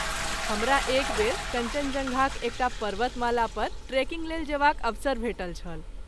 हमरा एक बेर कञ्चनजङ्घाक एकटा पर्वतमाला पर ट्रेकिंग लेल जेबाक अवसर भेटल छल।